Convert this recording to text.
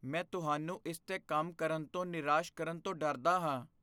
ਮੈਂ ਤੁਹਾਨੂੰ ਇਸ 'ਤੇ ਕੰਮ ਕਰਨ ਤੋਂ ਨਿਰਾਸ਼ ਕਰਨ ਤੋਂ ਡਰਦਾ ਹਾਂ।